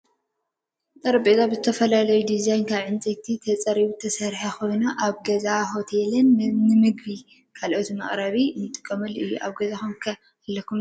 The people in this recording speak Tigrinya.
ጠረጴዛ ብዝተፈላለዩ ድዛይናት ካብ ዕንፀይቲ ተፀሪቢ ዝተሰረሓ ኮይኑ ኣብ ገዛ ሆቴላትን ንምግቢን ካልእን መቅረቢ እንጥቀመሉ እዩ። ኣብ ገዛኩም ከ ኣለኩም ዶ ?